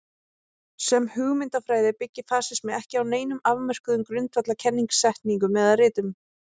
Sem hugmyndafræði byggir fasismi ekki á neinum afmörkuðum grundvallar kennisetningum eða ritum.